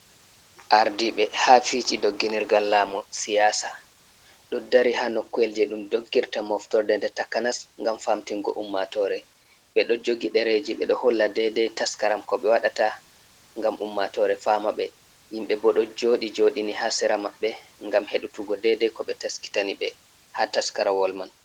Ardiiɓe haa fiiji dogginirgal laamu siyaasa, ɗo dari haa nokkuwel jey ɗum doggirta moftorde, nde takanas ngam famtinngo ummatoore. Ɓe ɗo jogi ɗereji ɓe ɗo holla dedey taskaram ko ɓe waɗata ngam ummatoore faama ɓe. Himɓe bo ɗo jooɗi jooɗini, haa sera maɓɓe ngam heɗutugo dedey ko ɓe taskitani ɓe, haa taskarawol man.